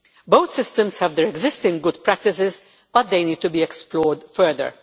Both systems have their existing good practices but they need to be explored further.